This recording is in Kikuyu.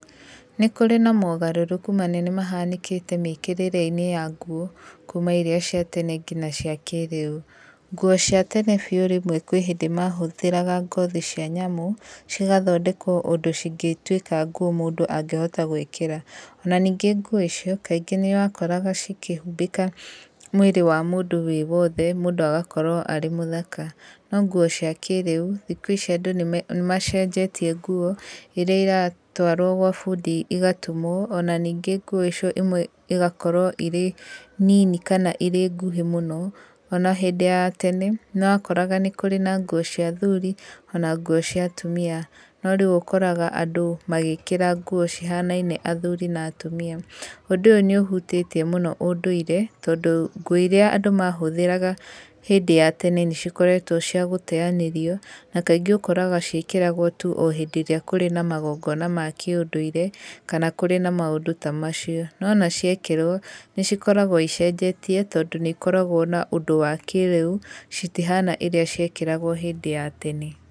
Nĩ kũrĩ na mogarũrũku manene mahanĩkĩte mĩkĩrĩre-inĩ ya nguo kuuma irĩa cia tene nginya cia kĩrĩu. Nguo cia tene biũ rĩmwe kwĩ hĩndĩ mahũthĩraga ngothi cia nyamũ, cigathondekwo ũndũ cingĩtuĩka nguo mũndũ angĩhota gwĩkĩra. Ona ningĩ nguo icio kaingĩ nĩ wakoraga cikĩhumbĩka mwĩrĩ wa mũndũ wĩ wothe, mũndũ agakorwo arĩ mũthaka. No nguo cia kĩrĩu, thikũ ici andũ nĩ macenjetie nguo, irĩa iratũarwo gwa bundi igatumwo, ona ningĩ nguo icio imwe igakorwo irĩ nini kana irĩ nguhĩ mũno, ona hĩndĩ ya tene, nĩ wakoraga nĩ kũrĩ na nguo cia athuri ona nguo cia atumia, no rĩu ũkoraga andũ magĩkĩra nguo cihanaine athuri na atumia. Ũndũ ũũ nĩ ũhutĩtie mũno ũndũire, tondũ nguo iria andũ mahũthĩraga hĩndĩ ya tene nĩ cikoretwo cia gũteanĩrio, na kaingĩ ũkoraga ciĩkĩragwo tu o hĩndĩ ĩrĩa kũrĩ na magongona ma kĩũndũire, kana kũrĩ na maũndũ ta macio. No ona ciekĩrwo, nĩ cikoragwo icenjetie tondũ nĩ ikoragwo na ũndũ wa kĩrĩu citihana irĩa ciekĩragwo hĩndĩ ya tene.